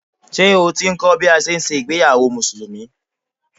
Ṣé o ti ń kọ́ bí a ṣe ń ṣe ìgbéyàwó Musùlùmí?